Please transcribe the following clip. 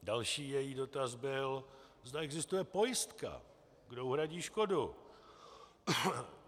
Další její dotaz byl, zda existuje pojistka, kdo uhradí škodu.